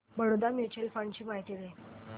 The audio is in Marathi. बडोदा म्यूचुअल फंड ची माहिती दे